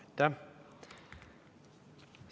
Aitäh!